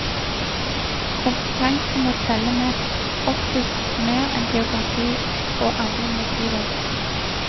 Kompetanse må telle mest, oftest mer enn geografi og andre motiver.